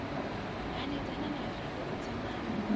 hanedzana na vivho u dzimana